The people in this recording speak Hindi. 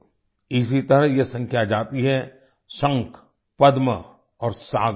इसी तरह ये संख्या जाती है शंख पद्म और सागर तक